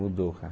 Mudou, cara.